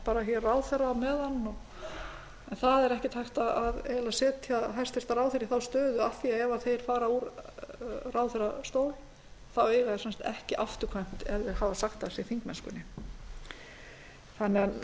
ert hér ráðherra á meðan en það er ekki hægt að setja hæstvirtur ráðherra í þá stöðu af því að ef þeir fara úr ráðherrastól þá eiga þeir samt ekki afturkvæmt ef þeir hafa sagt af sér þingmennskunni